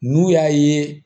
N'u y'a ye